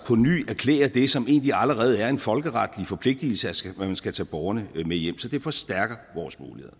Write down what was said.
ny erklærer det som egentlig allerede er en folkeretlig forpligtelse altså at man skal tage borgerne hjem så det forstærker vores muligheder